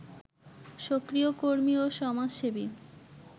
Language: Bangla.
সক্রিয় কর্মী ও সমাজসেবী